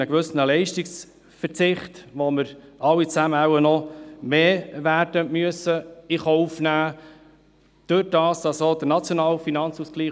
Einen gewissen Leistungsverzicht gibt es, und wir werden wohl alle noch etwas mehr davon in Kauf nehmen müssen.